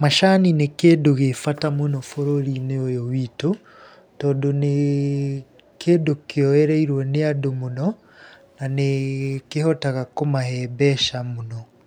Macani nĩ kĩndũ gĩ bata mũno bũrũri-inĩ ũyũ witũ, tondũ nĩ kĩndũ kĩoyereirwo nĩ andũ mũno na nĩ kĩhotaga kũmahe mbeca mũno.